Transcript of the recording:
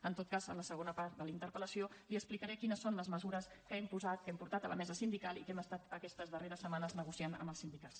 en tot cas a la segona part de la interpel·lació li explicaré quines són les mesures que hem posat que hem portat a la mesa sindical i que hem estat aquestes darreres setmanes negociant amb els sindicats